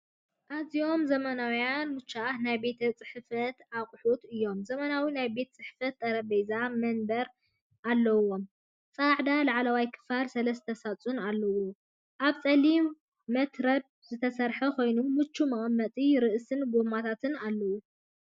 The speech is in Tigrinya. ኣዝዮም ዘመናውያንን ምቹኣትን ናይ ቤት ጽሕፈት ኣቑሑት እዮም! ዘመናዊ ናይ ቤት ጽሕፈት ጠረጴዛን መንበርን ኣለዎም። ጻዕዳ ላዕለዋይ ክፋልን ሰለስተ ሳጹናትን ኣለዎ። ካብ ጸሊም መትረብ ዝተሰርሐ ኮይኑ ምቹእ መቐመጢ ርእስን ጎማታትን ኣለዎ።